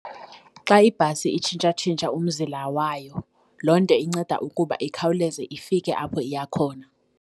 Xa ibhasi itshintshatshintsha umzila wayo, loo nto inceda ukuba ikhawuleze ifike apho iya khona.